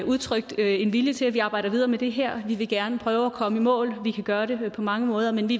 udtrykt en vilje til at vi arbejder videre med det her vi vil gerne prøve at komme i mål vi kan gøre det på mange måder men vi